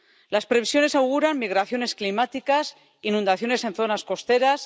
Las previsiones auguran migraciones climáticas, inundaciones en zonas costeras...